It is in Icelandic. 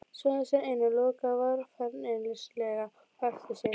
Smeygði sér inn og lokaði varfærnislega á eftir sér.